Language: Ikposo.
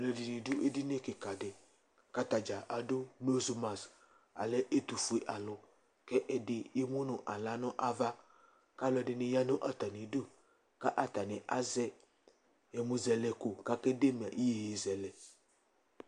Alʋɛdɩnɩ dʋ edini kɩka dɩ kʋ ata dza adʋ nosmas Alɛ ɛtʋfue alʋ kʋ ɛdɩ emu nʋ aɣla nʋ ava kʋ alʋɛdɩnɩ ya nʋ atamɩdu kʋ atanɩ azɛ ɛmʋzɛlɛko kʋ akede ma iyeyezɛlɛ